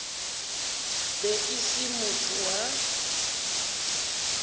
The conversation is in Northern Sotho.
be e se motho wa